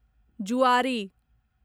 जुआरी